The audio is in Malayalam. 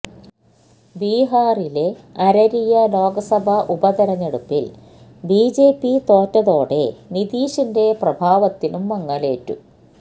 ബിഹാറിലെ അരരിയ ലോക്സഭാ ഉപതിരഞ്ഞെടുപ്പിൽ ബിജെപി തോറ്റതോടെ നിതീഷിന്റെ പ്രഭാവത്തിനും മങ്ങലേറ്റു